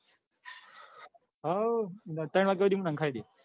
હાઓ ત્રણ વાગ્યા હુધી નંખાઈ દાય.